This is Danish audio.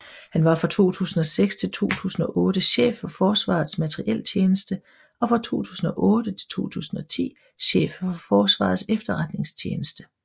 Han var fra 2006 til 2008 chef for Forsvarets Materieltjeneste og fra 2008 til 2010 chef for Forsvarets Efterretningstjeneste